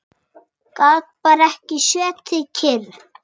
Gat bara ekki setið kyrr.